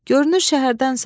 Görünür şəhərdənsən.